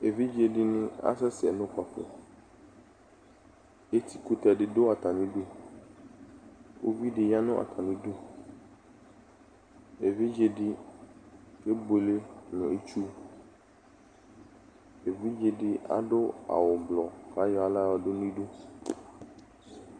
Evidze di ni asɛsɛ nʋ ukpafo Eti kʋtɛ di dʋ atami idu Uvi di ya nʋ atami idu Evidze di kebuele nʋ itsʋ Evidze di adʋ awʋ ʋblʋɔ kʋ ayɔ aɣla yɔdʋ ni du